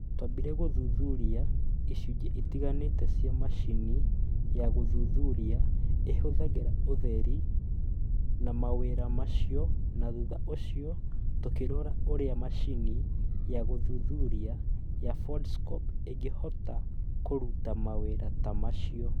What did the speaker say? Twambire gũthuthuria icunjĩ itiganĩte cia macini ya gũthuthuria ĩhũthagĩra ũtheri na mawĩra macio na thutha ũcio tũkĩrora ũrĩa macini ya gũthuthuria ya Foldscope ĩngĩhota kũruta mawĩra ta macio.